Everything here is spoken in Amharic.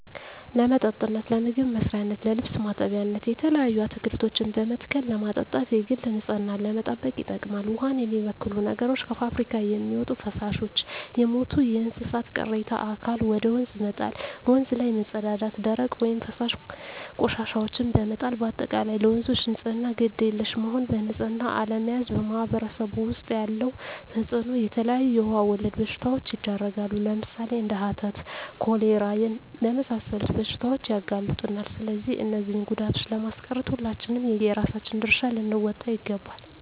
ለመጠጥነት ለምግብ መስሪያነት ለልብስ ማጠቢያነት የተለያዩ አትክልቶችን በመትከል ለማጠጣት የግል ንፅህናን ለመጠበቅ ይጠቅማል ዉሃን የሚበክሉ ነገሮች - ከፍብሪካ የሚወጡ ፈሳሾች - የሞቱ የእንስሳት ቅሬታ አካል ወደ ወንዝ መጣል - ወንዝ ላይ መፀዳዳት - ደረቅ ወይም ፈሳሽ ቆሻሻዎችን በመጣል - በአጠቃላይ ለወንዞች ንፅህና ግድ የለሽ መሆን በንፅህና አለመያዝ በማህበረሰቡ ዉስጥ ያለዉ ተፅእኖ - የተለያዩ የዉሃ ወለድ በሽታዎች ይዳረጋሉ ለምሳሌ፦ እንደ ሀተት፣ ኮሌራ ለመሳሰሉት በሽታዎች ያጋልጡናል ስለዚህ እነዚህን ጉዳቶችን ለማስቀረት ሁላችንም የየራሳችን ድርሻ ልንወጣ ይገባል